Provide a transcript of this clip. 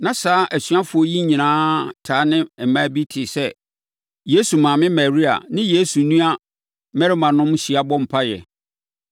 Na saa asuafoɔ yi nyinaa taa ne mmaa bi te sɛ Yesu maame Maria ne Yesu nnua mmarimanom hyia bɔ mpaeɛ.